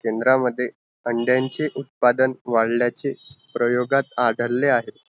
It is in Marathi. केंद्रा मध्ये, अंड्यांचे उत्पादन उत्पादन वाढल्याचे प्रयोगात आढळले आहेत